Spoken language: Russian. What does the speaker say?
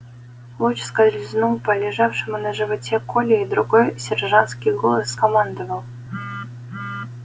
луч скользнул по лежавшему на животе коле и другой сержантский голос скомандовал